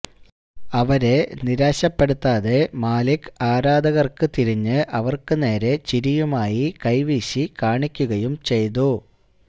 അവരെ നിരാശപ്പെടുത്താതെ മാലിക്ക് ആരാധകര്ക്ക് തിരിഞ്ഞ് അവര്ക്ക് നേരെ ചിരിയുമായി കൈവീശി കാണിക്കുകയും ചെയ്തു